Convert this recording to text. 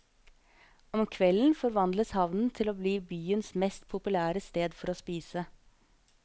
Om kvelden forvandles havnen til å bli byens mest populære sted for å spise.